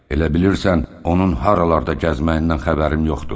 Elə bilirsən onun haralarda gəzməyindən xəbərim yoxdur?